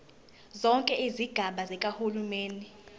zonke izigaba zikahulumeni